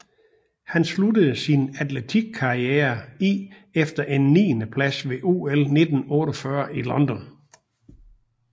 Han sluttede sin atletikkariere i efter en niende plads ved OL 1948 i London